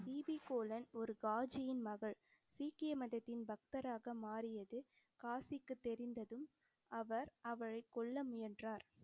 BP Kaulan ஒரு காஜியின் மகள். சீக்கிய மதத்தின் பக்தராக மாறியது காஜிக்கு தெரிந்ததும் அவர் அவளைக் கொல்ல முயன்றார்.